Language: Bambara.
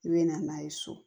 I bɛ na n'a ye so